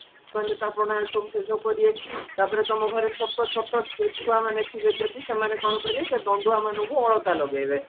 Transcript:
ମାନେ ସେସବୁ କରିବେ ତାପରେ ତମ ଘରେ ଛୋଟ ଛୋଟ ଛୁଆ ମାନେ ଥିବେ ଯଦି ସେମାନେ କଣ କରିବେ ସେ ଦଣ୍ଡଆ ମାନଙ୍କୁ ଅଳତା ଲଗେଇବେ